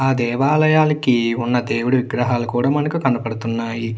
ఆ దేవాలయానికి ఉన్న దేవుడి విగ్రహాలు కూడా మనకి కనపడుతున్నాయి.